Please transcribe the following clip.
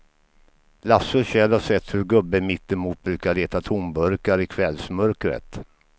Lasse och Kjell har sett hur gubben mittemot brukar leta tomburkar i kvällsmörkret.